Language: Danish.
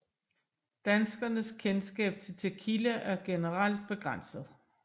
Danskernes kendskab til Tequila er generelt begrænset